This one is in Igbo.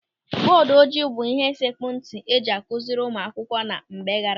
Bọọdụ ojii bụ ịhe sekpu ntị eji akụziri ụmụ akwụkwọ na mgbe gaara aga.